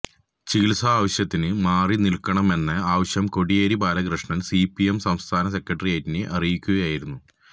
ചികിത്സ ആവശ്യത്തിന് മാറി നില്ക്കണമെന്ന ആവശ്യം കോടിയേരി ബാലകൃഷ്ണന് സിപിഎം സംസ്ഥാന സെക്രട്ടേറിയറ്റിനെ അറിയിക്കുകയായിരുന്നു